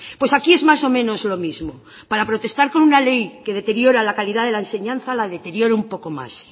pues aquí es más o menos lo mismo para protestar con una ley que deteriora la calidad de la enseñanza la deteriora un poco más